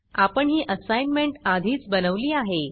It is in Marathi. आपण ही असाईनमेंट आधीच बनवली आहे